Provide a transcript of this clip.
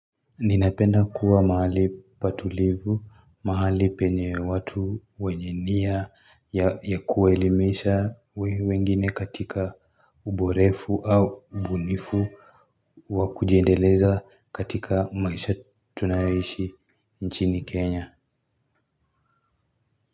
Ninapenda kuwa mahali patulivu mahali penye watu wenye nia ya kuwaelimisha wengine katika uborefu au ubunifu wa kujiendeleza katika maisha tunayoishi nchini kenya.